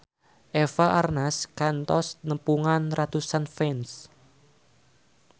Eva Arnaz kantos nepungan ratusan fans